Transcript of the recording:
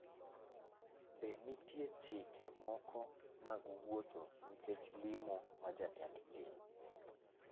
Be nitie chike moko mag wuotho nikech limo ma jatend piny